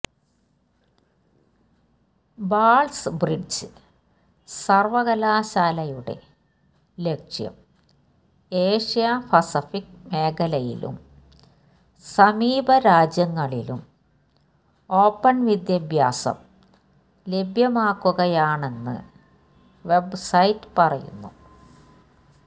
balls Bridge സർവകലാശാലയുടെ ലക്ഷ്യം Asia Pacific മേഖലയിലും സമീപരാജ്യങ്ങളിലും ഓപ്പൺ വിദ്യാഭ്യാസം ലഭ്യമാക്കുകയാണെന്ന് വെബ്സൈറ്റ് പറയുന്നു